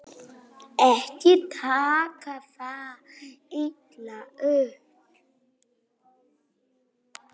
Ekki taka það illa upp.